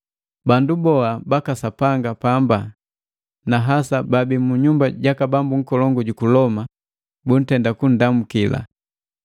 Bandu boa baka Sapanga pamba, na hasa baabi mu nyumba jaka bambu nkolongu juku Loma, buntenda kundamu.